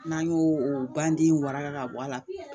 N'an y'o o ban den waraka ka bɔ a la